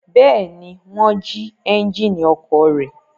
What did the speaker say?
Bẹ́ẹ̀ ni, wọ́n jí ẹ́ńjínì ọkọ̀ rẹ̀.